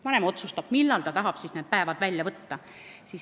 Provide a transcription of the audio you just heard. Vanem otsustab, millal ta tahab need päevad välja võtta.